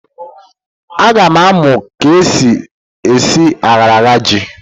A ga m amu k'esi esi ayaraya ji.